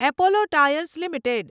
Apollo tyres limited